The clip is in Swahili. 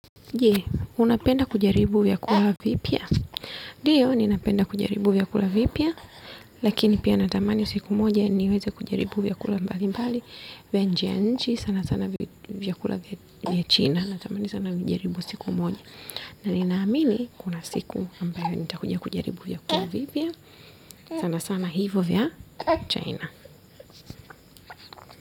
Je, unapenda kujaribu vyakula vipya. Ndio, ninapenda kujaribu vyakula vipya. Lakini pia natamani siku moja niweze kujaribu vyakula mbalimbali vya nje ya nchi, sana sana vyakula vya China. Natamani sana nijaribu siku moja. Na ninaamini, kuna siku ambayo nitakuja kujaribu vyakula vipya. Sana sana hivo vya China.